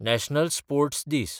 national sports दीस